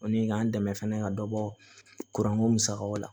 O ni k'an dɛmɛ fɛnɛ ka dɔ bɔ kuranko musakaw la